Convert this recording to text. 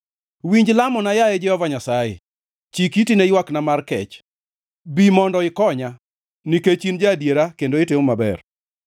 Winj lamona, yaye Jehova Nyasaye, chik iti ne ywakna mar kech; bi mondo ikonya nikech in ja-adiera kendo itimo maber.